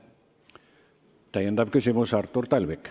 Täiendav küsimus Artur Talvikult.